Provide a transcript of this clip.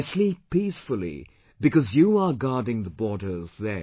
I sleep peacefully, because you are guarding the borders there